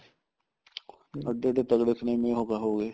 ਅੱਗੇ ਤਾਂ ਤਗੜੇ ਸਨੀਮੇ ਹੋ ਗਏ